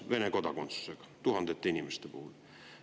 tuhandeid Vene kodakondsusega inimesi.